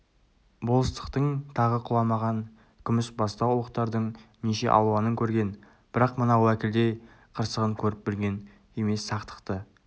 болыстықтың тағы құламаған күмісбастау ұлықтардың неше алуанын көрген бірақ мына уәкілдей қырсығын көріп-білген емес сақтықта